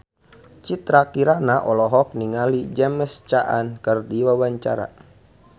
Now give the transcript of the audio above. Citra Kirana olohok ningali James Caan keur diwawancara